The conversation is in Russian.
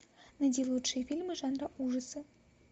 найди лучшие фильмы жанра ужасы